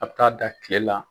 A bɛ taa da kile la.